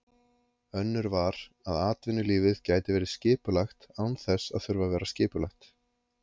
Önnur var, að atvinnulífið gæti verið skipulegt án þess að þurfa að vera skipulagt.